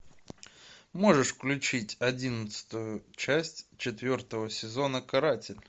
можешь включить одиннадцатую часть четвертого сезона каратель